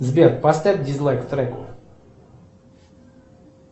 сбер поставь дизлайк треку